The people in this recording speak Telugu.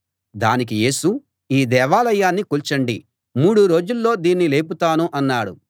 దానికి యేసు ఈ దేవాలయాన్ని కూల్చండి మూడు రోజుల్లో దీన్ని లేపుతాను అన్నాడు